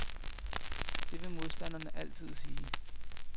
Det vil modstanderne altid sige.